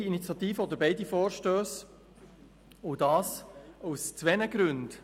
Die EVP begrüsst beide Vorstösse und dies aus zwei Gründen.